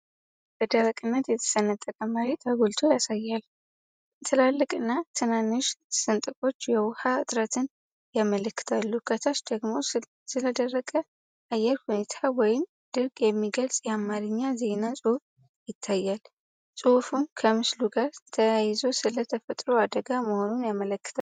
በደረቅነት የተሰነጠቀ መሬት አጉልቶ ያሳያል። ትላልቅና ትናንሽ ስንጥቆች የውሃ እጥረትን ያመለክታሉ። ከታች ደግሞ ስለደረቅ አየር ሁኔታ ወይም ድርቅ የሚገልጽ የአማርኛ ዜና ፅሁፍ ይታያል። ፅሁፉም ከምስሉ ጋር ተያይዞ ስለ ተፈጥሮ አደጋ መሆኑን ያመላክታል።